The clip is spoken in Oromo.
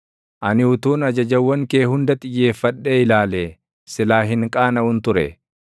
Ani utuun ajajawwan kee hunda xiyyeeffadhee ilaalee silaa hin qaanaʼun ture.